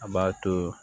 A b'a to